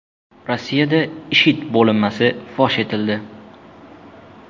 Rossiyada IShID bo‘linmasi fosh etildi.